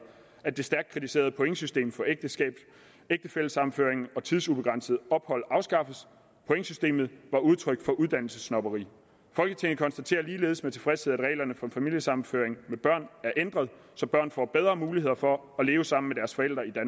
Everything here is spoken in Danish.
at det stærkt kritiserede pointsystem for ægtefællesammenføring og tidsubegrænset ophold afskaffes pointsystemet var udtryk for uddannelsessnobberi folketinget konstaterer ligeledes med tilfredshed at reglerne for familiesammenføring med børn er ændret så børn får bedre muligheder for at leve sammen